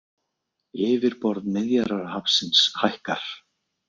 Yfirborð Miðjarðarhafsins hækkar